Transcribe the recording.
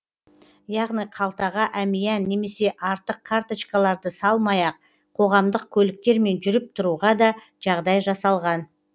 яғни қалтаға әмиян немесе артық карточкаларды салмай ақ қоғамдық көліктермен жүріп тұруға да жағдай жасалған